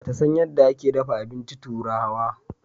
Ba ta san yadda ake dafa abinci turawa.